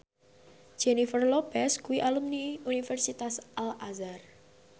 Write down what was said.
Jennifer Lopez kuwi alumni Universitas Al Azhar